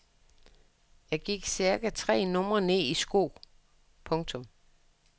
Jeg gik cirka tre numre ned i sko. punktum